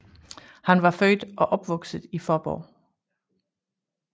Han var født og opvokset i Fåborg